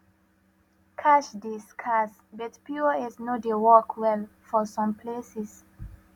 cash dey scarce but pos no dey work well for some places